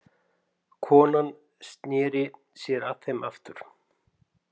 Konan sneri sér að þeim aftur.